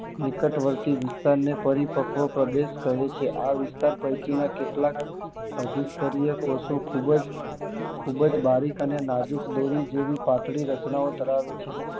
નિકટ વર્ષી વિસ્તાર ને પરિપક્વ પ્રદેશ કહે છે આ ઉપર પૈકી ના કેટલાક અધિકતરીય કોષો ખુબજ ખુબજ નાજુક અને દોરી જેવી પાતળી રચના ઓ ધરાવે છે